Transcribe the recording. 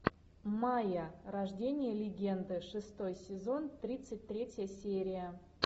майя рождение легенды шестой сезон тридцать третья серия